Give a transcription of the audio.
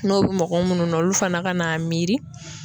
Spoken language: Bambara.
N'o bi mɔgɔ munnu na olu fana ka n'a miiri